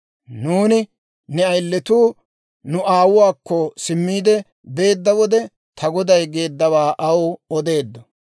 Nuuni ne ayilatuu nu aawuwaakko simmiide beedda wode, ta goday geeddawaa aw odeeddo.